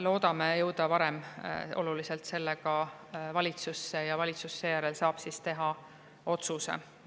Loodame jõuda oluliselt varem sellega valitsusse ja valitsus saab seejärel teha otsuse.